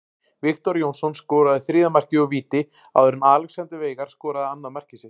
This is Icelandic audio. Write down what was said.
Viktor Jónsson skoraði þriðja markið úr víti áður en Alexander Veigar skoraði annað mark sitt.